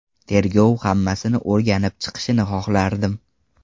Tergov hammasini o‘rganib chiqishini xohlardim.